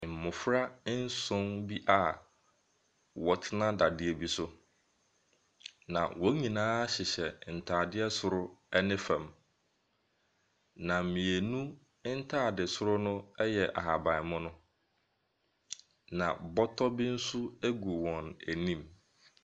Mmɔfra nson bi a wɔtena dadeɛ bi so, na wɔn nyinaa hyehyɛ ntaadeɛ soro ɛne fam, na mmienu ntaadesoro no ɛyɛ ahabanmono. Na bɔtɔ bi nso agu wɔn anim.